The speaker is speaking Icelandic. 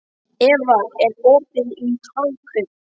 Eva, er opið í Hagkaup?